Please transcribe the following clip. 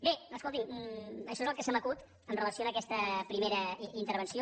bé escolti’m això és el que se m’acut amb relació a aquesta primera intervenció